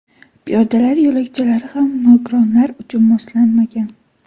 Piyodalar yo‘lakchalari ham nogironlar uchun moslanmagan.